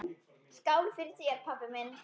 Skál fyrir þér, pabbi minn.